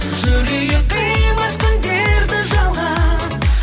жүрейік қимастың дерті жалған